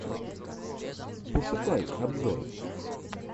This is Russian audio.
пошукай обзор